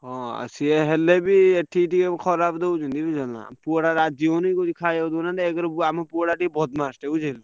ହଁ ସିଏ ହେଲେବି ଏଠି ଟିକେ ଖରାପ ଦଉଛନ୍ତି ବୁଝିପାରିଲ ନାଁ। ପୁଅ ଟା ରାଜି ହଉନି କହୁଛି ଖାଇବାକୁ ଦଉନାହାନ୍ତି ଏକରେ ଆମ ପୁଅ ଟା ଟିକେ ବଦମାସ ଟା ବୁଝି ହେଲା।